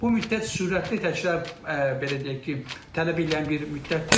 Bu müddət sürətli təkrar, belə deyək ki, tələb eləyən bir müddətdir.